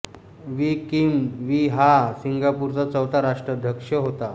we Kim Wee हा सिंगापूरचा चौथा राष्ट्राध्यक्ष होता